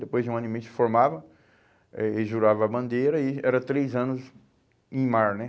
Depois de um ano e meio se formava, eh eles juravam a bandeira e era três anos em mar, né?